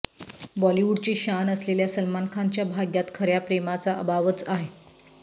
बॉलीवूडची शान असलेल्या सलमान खानच्या भाग्यात खर्या प्रेमाचा अभावच आहे